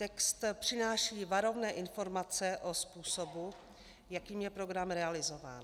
Text přináší varovné informace o způsobu, jakým je program realizován.